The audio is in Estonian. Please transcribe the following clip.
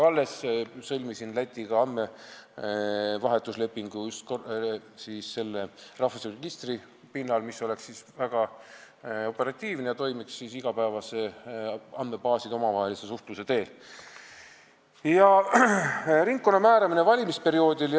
Alles sõlmisin Lätiga andmevahetuslepingu rahvastikuregistri pinnal, mis oleks väga operatiivne ja toimiks andmebaaside omavahelise igapäevase suhtluse teel.